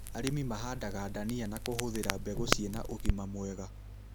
Arĩmi mahandaga ndania na kũhũthĩra mbegũ ciĩna ũgima mwega